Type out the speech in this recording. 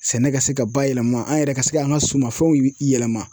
Sɛnɛ ka se ka bayɛlɛma an yɛrɛ ka se k'an ka sumanfɛnw yɛlɛma.